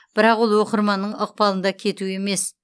бірақ ол оқырманның ықпалында кету емес